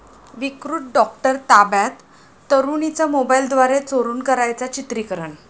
विकृत डॉक्टर ताब्यात, तरुणीचं मोबाईलद्वारे चोरून करायचा चित्रिकरण